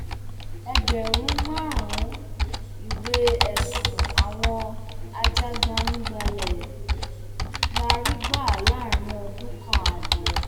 ẹgbẹrún márùnún ìwé ẹsùn àwọn ajàgbàǹgbàlẹ la rí gbà láàrin ọdún kan ààbọ